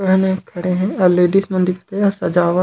आऊ लेडीज मन दिखत हे सजावट--